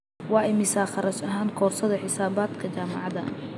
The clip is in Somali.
Waa imisa kharash ahaan koorsada xisaabaadka ee jaamacada?